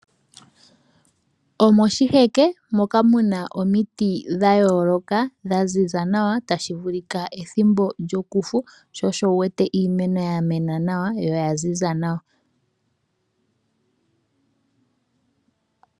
Omoshiheke moka muna omiti dha yooloka dha ziza nawa. Otashi vulika ethimbo lyokufu sho osho wu wete iimeno ya mena nawa yo oya ziza nawa.